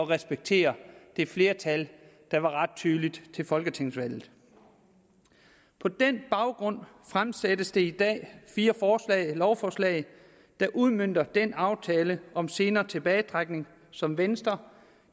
respektere det flertal der var ret tydeligt til folketingsvalget på den baggrund fremsættes der i dag fire lovforslag der udmønter den aftale om senere tilbagetrækning som venstre